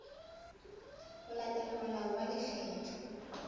ho latela molao wa lekgetho